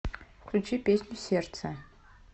включи песню сердце